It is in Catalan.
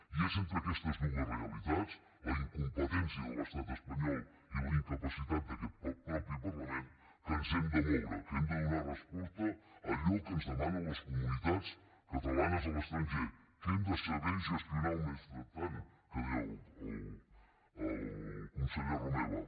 i és entre aquestes dues realitats la incompetència de l’estat espanyol i la incapacitat d’aquest mateix parlament que ens hem de moure que hem de donar resposta a allò que ens demanen les comunitats catalanes a l’estranger que hem de saber gestionar el mentrestant que deia el conseller romeva